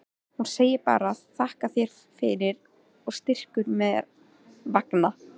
Hún segir bara: þakka þér fyrir, og strýkur mér vangann.